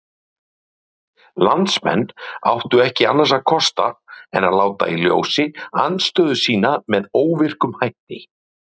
Landsmenn áttu ekki annars kost en láta í ljósi andstöðu sína með óvirkum hætti.